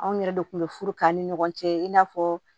Anw yɛrɛ de kun bɛ furu k'an ni ɲɔgɔn cɛ i n'a fɔ